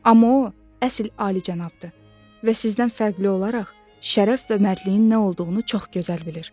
Amma o, əsl alicənabdır və sizdən fərqli olaraq, şərəf və mərdliyin nə olduğunu çox gözəl bilir.